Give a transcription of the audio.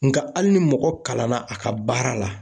Nga hali ni mɔgɔ kalanna a ka baara la.